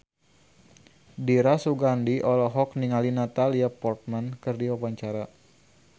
Dira Sugandi olohok ningali Natalie Portman keur diwawancara